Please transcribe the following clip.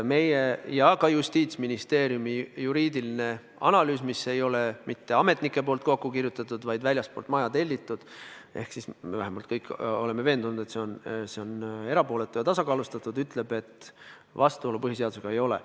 Ka Justiitsministeeriumi juriidiline analüüs, mis ei ole mitte ametnike kokku kirjutatud, vaid väljastpoolt maja tellitud – seega me kõik oleme veendunud, et see on erapooletu ja tasakaalustatud –, ütleb, et vastuolu põhiseadusega ei ole.